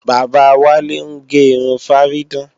Bàbá Wálé ń ge irun fárídán